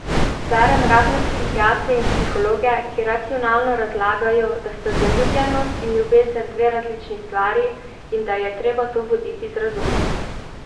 Berem razne psihiatre in psihologe, ki racionalno razlagajo, da sta zaljubljenost in ljubezen dve različni stvari in da je treba to voditi z razumom.